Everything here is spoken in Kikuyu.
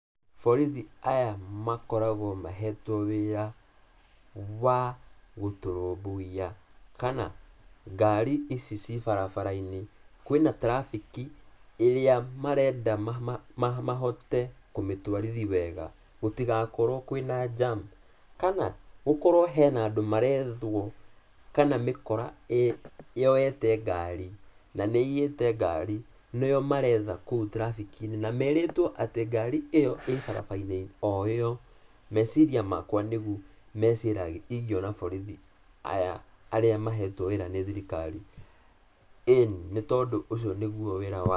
Borithi aya makoragwo mahetwo wĩra wa gũtũrũmbũiya, kana ngari ici ciĩ barabara-inĩ, kwĩna tirabĩki ĩrĩa marenda mahote kũmĩtwarithi wega, gũtigakorwo kwĩna jam kana gũkorwo hena andũ marethwo kana mĩkora ĩ, yoete ngari na nĩĩiyĩte ngari, nĩo maretha kũu tirabĩki-inĩ, na merĩtwo atĩ ngari ĩyo ĩ-barabara-inĩ o ĩyo. Meciria makwa nĩguo meciragia ingiona borithi aya, arĩa mahetwo wĩra nĩ thirikari, ĩĩni nĩ tondũ ũcio nĩgwo wĩra wao.